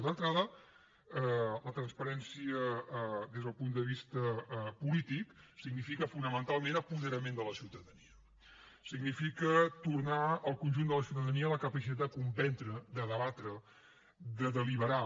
d’entrada la transparència des del punt de vista polític significa fonamentalment apoderament de la ciutadania significa tornar al conjunt de la ciutadania la capacitat de comprendre de debatre de deliberar